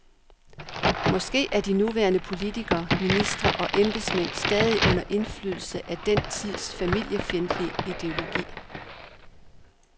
Måske er de nuværende politikere, ministre og embedsmænd stadig under indflydelse af den tids familiefjendtlige ideologi.